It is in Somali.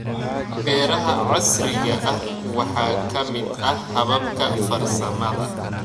Beeraha casriga ah waxaa ka mid ah hababka farsamada.